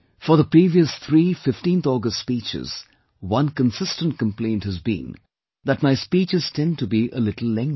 For the previous three 15th August speeches, one consistent complaint has been that my speeches tend to be a little lengthy